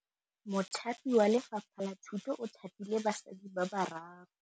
Mothapi wa Lefapha la Thutô o thapile basadi ba ba raro.